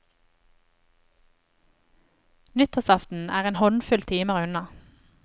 Nyttårsaften er en håndfull timer unna.